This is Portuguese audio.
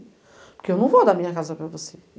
Porque eu não vou dar minha casa para você.